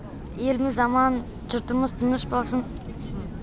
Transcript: еліміз аман жұртымыз тыныш болсын